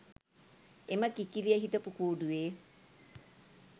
එම කිකිළිය හිටපු කූඩුවේ